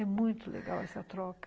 É muito legal essa troca.